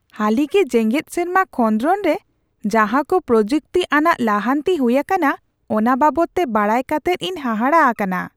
ᱦᱟᱹᱞᱤᱜᱮ ᱡᱮᱜᱮᱫ ᱥᱮᱨᱢᱟ ᱠᱷᱚᱸᱫᱨᱚᱱ ᱨᱮ ᱡᱟᱦᱟ ᱠᱚ ᱯᱨᱚᱡᱩᱠᱛᱤ ᱟᱱᱟᱜ ᱞᱟᱦᱟᱱᱛᱤ ᱦᱩᱭ ᱟᱠᱟᱱᱟ ᱚᱱᱟ ᱵᱟᱵᱚᱫ ᱛᱮ ᱵᱟᱰᱟᱭ ᱠᱟᱛᱮᱫ ᱤᱧ ᱦᱟᱦᱟᱲᱟ ᱟᱠᱟᱱᱟ ᱾